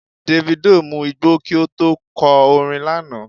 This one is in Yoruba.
Davido mu igbó kí ó tó kọ orin lánàá.